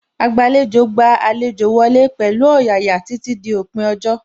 Agbàlejò gba àlejò wọlé pẹ̀lú ọ̀yàyà títí dí òpin ọjọ́